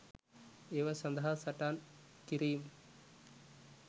ඒවා සදහා සටන් කිරීම්